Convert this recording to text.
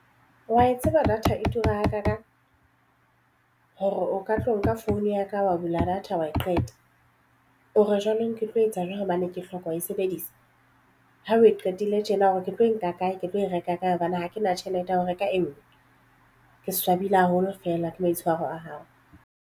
Wa e tseba data e tura hakaakang hore o ka tlo nka phone ya ka wa bula data wa e qeta o re jwanong ke tlo etsa jwang hobane ke hloka ho e sebedisa ha o e qetile tjena ore ketlo e nka kae ke tlo e reka ka hobane ha ke na tjhelete ya ho reka e nngwe. Ke swabile haholo fela ke maitshwaro a hao?